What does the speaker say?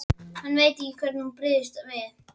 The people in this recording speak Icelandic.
Hann veit ekki hvernig hún brygðist við.